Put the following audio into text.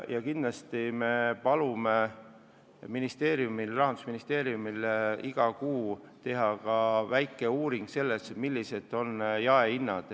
Ja kindlasti me palume Rahandusministeeriumil iga kuu teha väikese uuringu, millised on jaehinnad.